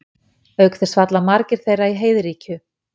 auk þess falla margir þeirra í heiðríkju